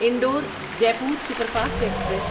Indore Jaipur superfast express